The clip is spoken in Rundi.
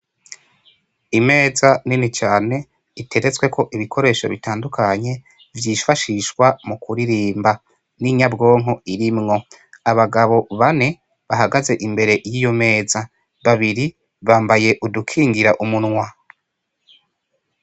Imeza nini cane iteretsweko ibikoresho bitandukanye vyifashishwa mu kuririmba n'inyabwonko irimwo, abagabo bane bahagaze imbere yiyo meza babiri bambaye udukingira umunwa.